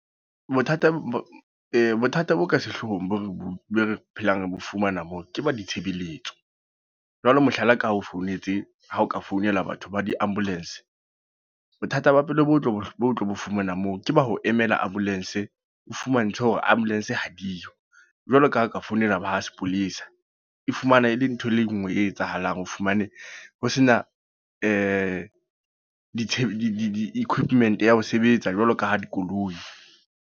Bothata bo bothata bo ka sehlohong bo re bo phelang re bo fumana moo, ke ba ditshebeletso. Jwale mohlala ka o founetse, ha o ka founela batho ba di-ambulance. Bothata ba pele bo tlo, bo tlo fumana moo. Ke ba ho emela ambulance, fumantshwe hore ambulance ha diyo. Jwalo ka ha o ka founela ba sepolesa. E fumana e le ntho e le nngwe e etsahalang. O fumane ho sena di-quipment ya ho sebetsa jwalo ka ha dikoloi.